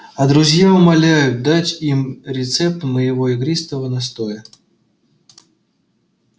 а друзья умоляют дать им рецепт моего игристого настоя